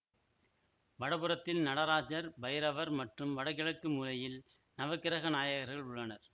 வடபுறத்தில் நடராஜர் பைரவர் மற்றும் வடகிழக்கு மூலையில் நவக்கிரக நாயகர்கள் உள்ளனர்